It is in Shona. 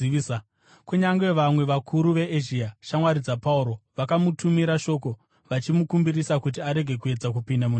Kunyange vamwe vakuru veEzhia, shamwari dzaPauro, vakamutumira shoko vachimukumbirisa kuti arege kuedza kupinda munhandare.